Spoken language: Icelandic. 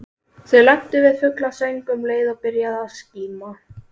Þau lentu við fuglasöng um leið og byrjaði að skíma.